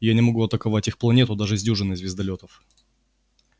я не могу атаковать их планету даже с дюжиной звездолётов